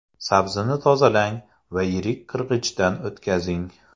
Sabzini tozalang va yirik qirg‘ichdan o‘tkazing.